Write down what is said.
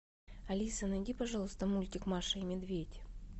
алиса найди пожалуйста мультик маша и медведь